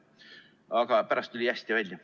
Aga pärast tuli hästi välja.